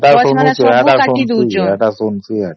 ସେଟା ଶୁଣୁଛେ ଶୁଣୁଛେ ଶୁଣୁଛେ ସେଟା